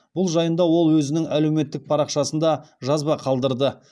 бұл жайында ол өзінің әлеуметтік парақшасында жазба қалдырды